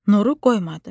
Nuru qoymadı.